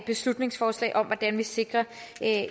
beslutningsforslag om hvordan vi sikrer